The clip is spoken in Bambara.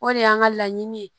O de y'an ka laɲini ye